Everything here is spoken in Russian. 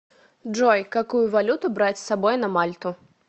джой какую валюту брать с собой на мальту